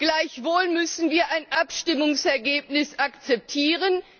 Gleichwohl müssen wir ein Abstimmungsergebnis akzeptieren.